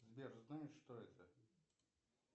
сбер знаешь что это